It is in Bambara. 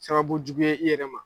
Sababu jugu ye i yɛrɛ ma